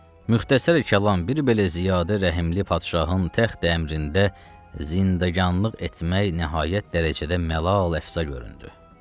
Müxtəsər kəlam, bir belə ziyadə rəhimli padşahın təxt əmrində zindeqanlıq etmək nəhayət dərəcədə məlal əfza göründü.